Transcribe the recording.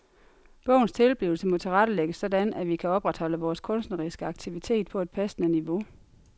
Bogens tilblivelse må tilrettelægges sådan at vi kan opretholde vores kunstneriske aktivitet på et passende niveau.